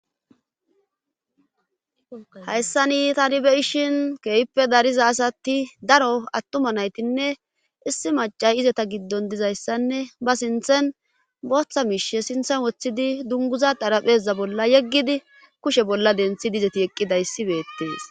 hayssani tani be'ishin keehippe dariza asati daro attuma naytinne issi macay izeta giddon dizayssanne ba sinthen booththa miishe sinthen woththidi dunguza xarapheza bolla yeggidi kushe bolla denthidi izeti eqqidayssi beettees